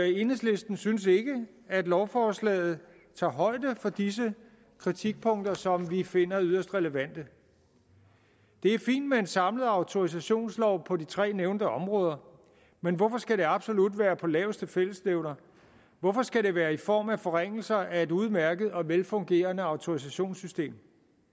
enhedslisten synes ikke at lovforslaget tager højde for disse kritikpunkter som vi finder yderst relevante det er fint med en samlet autorisationslov på de tre nævnte områder men hvorfor skal det absolut være på laveste fællesnævner hvorfor skal det være i form af forringelser af et udmærket og velfungerende autorisationssystem